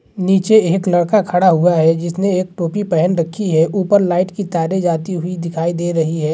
नीचे एक लड़का खड़ा हुआ है जिसने एक टोपी पहन रखी है ऊपर लाइट की तारे जाती हुई दिखाई दे रही है।